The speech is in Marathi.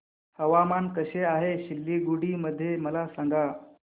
हवामान कसे आहे सिलीगुडी मध्ये मला सांगा